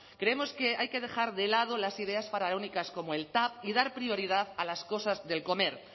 creemos que hay que dejar de lado las ideas faraónicas como el tav y dar prioridad a las cosas del comer